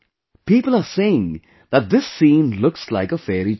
People are saying that this scene looks like a fairy tale